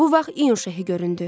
Bu vaxt İnşehi göründü.